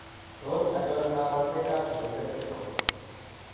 Tos achon kabarunaik ab Keutel syndrome ?